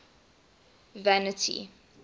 vanity